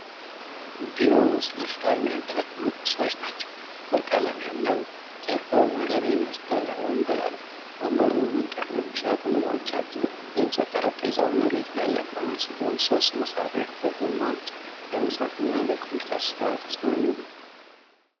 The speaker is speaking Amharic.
ቢሮ ውስጥ ለስራ የሚያገለግሉ ቁሶች ናቸው። ጥቁር ቀለም ያለው፣ ጀርባው መረብ የለበሰ ወንበር አለ። ወንበሩ መንቀሳቀሻ ጎማዎች አሉት። የእንጨት ጠረጴዛው መሬት ላይ የቆመ ሲሆን ሦስት መሳቢያዎች በጎኑ አሉት። ለመጻፍ እና ለኮምፒውተር ስራ ተስማሚ ነው።